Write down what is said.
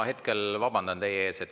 Ma hetkel vabandan teie ees.